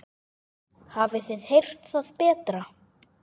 Hafið þið heyrt það betra.